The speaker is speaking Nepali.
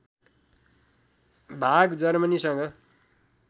भाग जर्मनीसँग